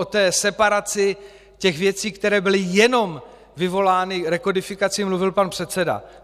O té separaci těch věcí, které byly jenom vyvolány rekodifikací, mluvil pan předseda.